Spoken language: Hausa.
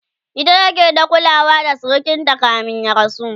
ita ke ta kulawa da sirikinta kamin ya rasu